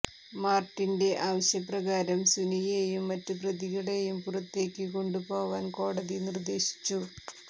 മാർട്ടിന്റെ ആവശ്യ പ്രകാരം സുനിയെയും മറ്റു പ്രതികളെയും പുറത്തേക്ക് കൊണ്ടു പോവാൻ കോടതി നിർദ്ദേശിച്ചു